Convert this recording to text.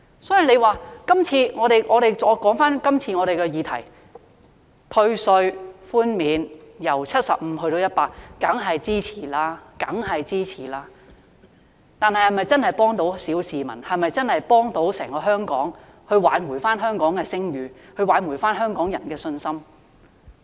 所以，我想說回今次的議題，退稅寬免由 75% 增至 100%， 大家當然是支持的，但是否真的可以幫助小市民、可以真的幫助整個香港挽回聲譽和香港人的信心呢？